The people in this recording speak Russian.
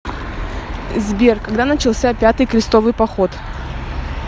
сбер когда начался пятый крестовый поход